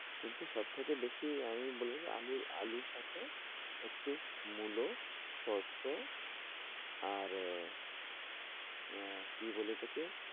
কিন্তু সবথেকে বেশি আমি বলবো যে আলুর আলুর সাথে একটু মূলো সরষে আর আহ কি বলে ওটাকে